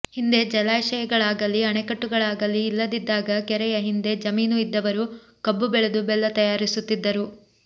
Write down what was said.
ಹಿಂದೆ ಜಲಾಶಯಗಳಾಗಲೀ ಅಣೆಕಟ್ಟುಗಳಾಗಲೀ ಇಲ್ಲದಿದ್ದಾಗ ಕೆರೆಯ ಹಿಂದೆ ಜಮೀನು ಇದ್ದವರು ಕಬ್ಬು ಬೆಳೆದು ಬೆಲ್ಲ ತಯಾರಿಸುತ್ತಿದ್ದರು